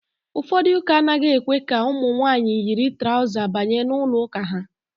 Ụfọdụ ụ́kà anaghị èkwé ka ụmụ nwaanyị yiri traụza banye n'ụlọụ́kà ha.